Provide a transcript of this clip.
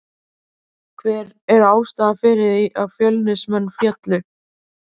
Hver er ástæðan fyrir því að Fjölnismenn féllu?